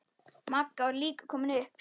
Magga var líka komin upp.